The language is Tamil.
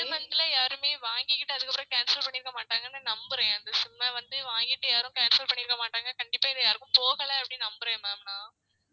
இந்த ரெண்டு month ல யாருமே வாங்கிகிட்டு அதுக்கு அப்றம் cancel பண்ணிருக்க மாட்டாங்கன்னு நம்புறேன் அந்த SIM அ வந்து வாங்கிட்டு யாரும் cancel பண்ணிருக்க மாட்டாங்க கண்டிப்பா இத யாருக்கும் போகல அப்டி நம்புறேன் ma'am நான்